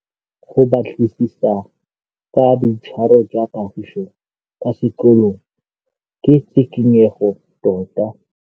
Go batlisisa ka boitshwaro jwa Kagiso kwa sekolong ke tshikinyêgô tota.